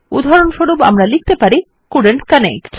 উদাহরণস্বরূপ আমরা লিখতে পারি কোল্ডেন্ট কানেক্ট